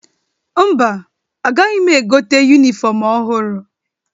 Mba, agaghị m egote yunifọmụ ọhụrụ.